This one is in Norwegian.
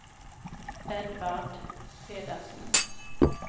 Edvard Pedersen